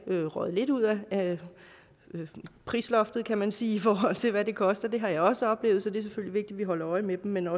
røget lidt ud af prisloftet kan man sige i forhold til hvad det koster det har jeg også oplevet så det er selvfølgelig at vi holder øje med dem men